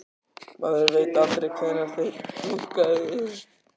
Maður veit aldrei hvenær þeir dúkka upp.